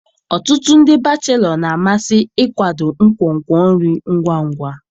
Ọtụtụ ndị bachelo na-amasị ịkwado nkwonkwo nri ngwa ngwa.